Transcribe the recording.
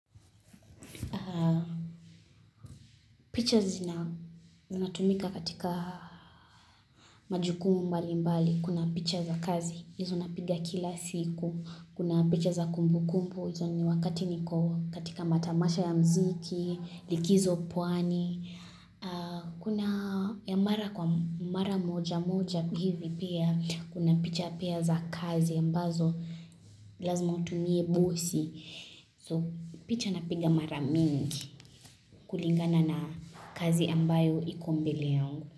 Picha zinatumika katika majukumu mbali mbali. Kuna picha za kazi. Izo napiga kila siku. Kuna picha za kumbu kumbu. Izo ni wakati niko katika matamasha ya mziki. Likizo pwani. Kuna ya mara kwa mara moja moja. Hivi pia. Kuna picha pia za kazi. Ambazo lazima utumie busi. So picha napiga mara mingi. Kulingana na, kazi ambayo iko mbele yangu.